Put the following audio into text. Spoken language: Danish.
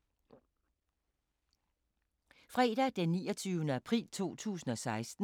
Fredag d. 29. april 2016